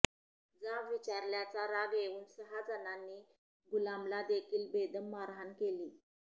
जाब विचारल्याचा राग येवून सहा जणांनी गुलामला देखील बेदम मारहाण केली